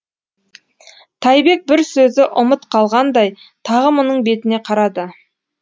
тайбек бір сөзі ұмыт қалғандай тағы мұның бетіне қарады